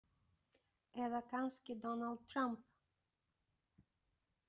Eða kannski Donald Trump.